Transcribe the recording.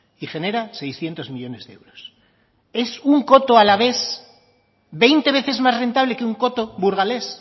y genera seiscientos millónes de euros es un coto alavés veinte veces más rentable que un coto burgalés